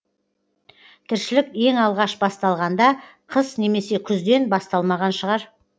тіршілік ең алғаш басталғанда қыс немесе күзден басталмаған шығар